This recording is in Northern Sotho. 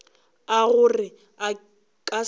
a gore a ka se